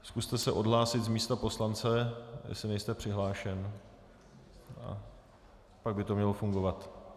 Zkuste se odhlásit z místa poslance, jestli nejste přihlášen, pak by to mělo fungovat.